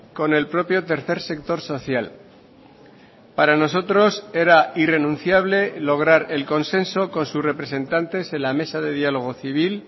con el propio tercer sector social para nosotros era irrenunciable lograr el consenso con sus representantes en la mesa de diálogo civil